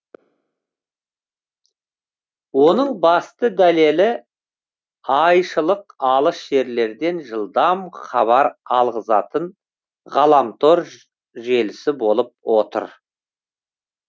оның басты дәлелі айшылық алыс жерлерден жылдам хабар алғызатын ғаламтор желісі болып отыр